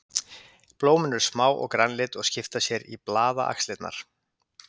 Blómin eru smá og grænleit og skipa sér í blaðaxlirnar.